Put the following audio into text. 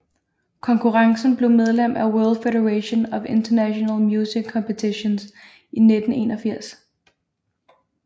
Konkurrencen blev medlem af World Federation of International Music Competitions i 1981